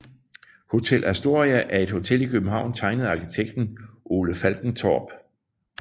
Hotel Astoria er et hotel i København tegnet af arkitekt Ole Falkentorp